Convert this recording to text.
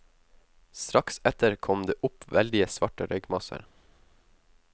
Strakt etter kom det opp veldige, svarte røykmasser.